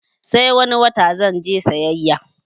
Sai wani wata zanje sayayya